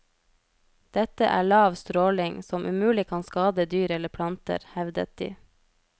Dette er lav stråling, som umulig kan skade dyr eller planter, hevdet de.